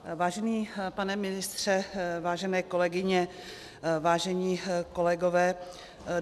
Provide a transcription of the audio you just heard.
Vážený pane ministře, vážené kolegyně, vážení kolegové.